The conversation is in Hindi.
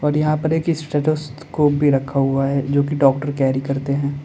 यहां पर एक स्टेथोस्कोप भी रखा गया है जो कि डॉक्टर कैरी करते हैं।